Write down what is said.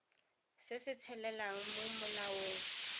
se se tshelelang mo molaong